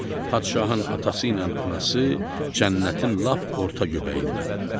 Padşahın atası ilə anası cənnətin lap orta göbəyindədirlər.